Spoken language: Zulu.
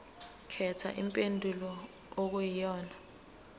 khetha impendulo okuyiyona